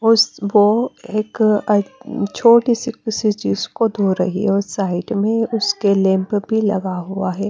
उसबो एक छोटी किसी चीज को धो रही और साइड में उसके लैंप भी लगा हुआ है।